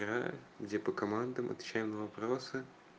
где по командам отвечаем на вопросы